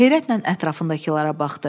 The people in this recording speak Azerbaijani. Heyrətlə ətrafındakılara baxdı.